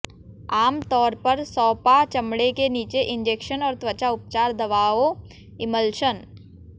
आम तौर पर सौंपा चमड़े के नीचे इंजेक्शन और त्वचा उपचार दवाओं इमल्शन